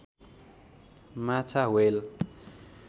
माछा ह्वेल